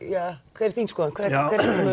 hver er þín skoðun